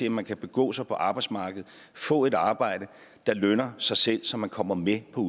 at man kan begå sig på arbejdsmarkedet og få et arbejde der lønner sig selv så man kommer med på